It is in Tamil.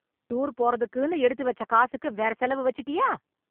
டூர் போறக்குன்னு எடுத்து வெச்ச காசுக்கு வேற செலவு வெச்சுட்டியா?